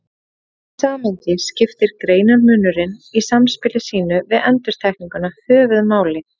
Í því samhengi skiptir greinarmunurinn í samspili sínu við endurtekninguna höfuðmáli.